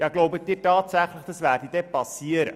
Glauben Sie tatsächlich, dies würde passieren?